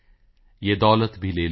ਯੇ ਦੌਲਤ ਭੀ ਲੇ ਲੋ